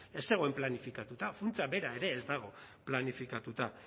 ez zegoen planifikatuta funtsa bera ere ez dago planifikatuta